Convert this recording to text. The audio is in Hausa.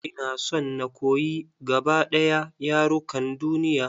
Ina son na koyi gaba ɗaya yarukan duniya.